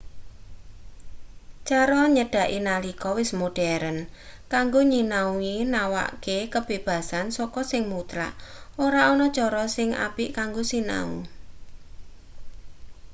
cara nyedhaki nalika wis moderen kanggo nyinau nawakke kabebasan saka sing mutlak ora ana cara sing apik kanggo sinau